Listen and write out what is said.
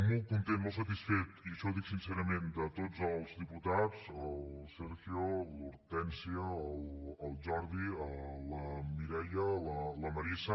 molt content molt satisfet i això ho dic sincerament de tots els diputats el sergio l’hortènsia el jordi la mireia la marisa